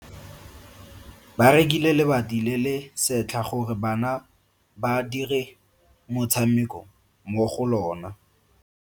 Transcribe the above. Ba rekile lebati le le setlha gore bana ba dire motshameko mo go lona.